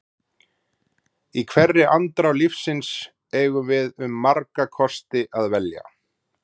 Í hverri andrá lífsins eigum við um marga kosti að velja.